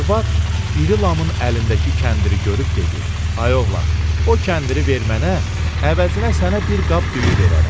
Arvad iri Lamın əlindəki kəndiri görüb dedi: Ay oğlan, o kəndiri ver mənə, əvəzinə sənə bir qab düyü verərəm.